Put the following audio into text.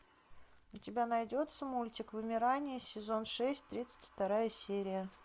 у тебя найдется мультик вымирание сезон шесть тридцать вторая серия